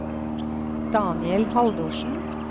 Daniel Haldorsen